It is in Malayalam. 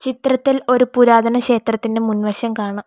ചിത്രത്തിൽ ഒരു പുരാതന ക്ഷേത്രത്തിന്റെ മുൻവശം കാണാം.